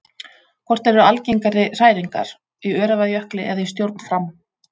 Hvort eru algengari hræringar, í Öræfajökli eða í stjórn Fram?